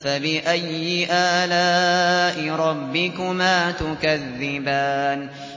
فَبِأَيِّ آلَاءِ رَبِّكُمَا تُكَذِّبَانِ